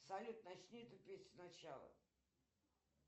салют начни эту песню сначала